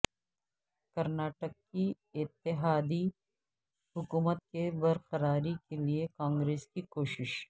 کرناٹک کی اتحادی حکومت کی برقراری کے لیے کانگریس کی کوشش